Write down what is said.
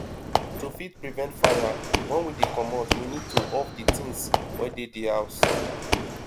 to fit prevent fire when we dey comot we need to off di things wey dey di house